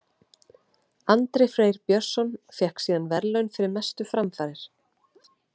Andri Freyr Björnsson fékk síðan verðlaun fyrir mestu framfarir.